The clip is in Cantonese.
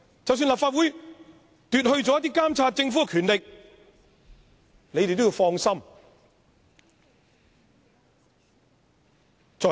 即使立法會奪去了監察政府的權力，你們也要放心"。